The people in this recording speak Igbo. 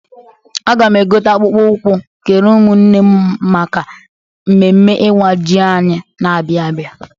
Aga m egote akpụkpọ ụkwụ keere ụmụ nne m maka mmemme iwa ji anyị na-abịa abịa.